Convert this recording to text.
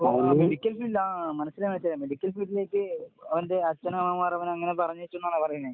Medical field ആഹ് മനസ്സിലായി മനസ്സിലായി. മെഡിക്കൽ ഫീൽഡിലേക്ക് ഓന്റെ അച്ഛനമ്മമാർ അവനങ്ങനെ പറഞ്ഞയച്ചൂന്നാണോ പറയണെ?